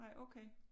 Nej okay